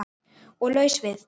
Og laus við